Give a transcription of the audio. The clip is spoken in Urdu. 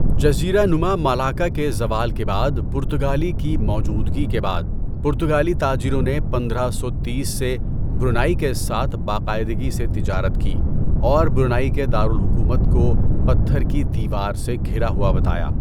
جزیرہ نما مالاکا کے زوال کے بعد پرتگالی کی موجودگی کے بعد، پرتگالی تاجروں نے پندرہ سو تیس سے برونائی کے ساتھ باقاعدگی سے تجارت کی اور برونائی کے دار الحکومت کو پتھر کی دیوار سے گھرا ہوا بتایا۔